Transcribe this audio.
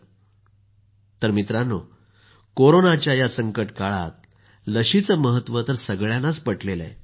मोदी जीः मित्रांनो कोरोनाच्या या संकट काळात लसीचं महत्व तर सगळ्यांनाच पटलं आहे